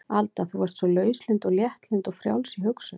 Alda þú varst svo lauslynd og léttlynd og frjáls í hugsun.